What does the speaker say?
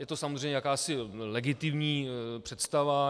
Je to samozřejmě jakási legitimní představa.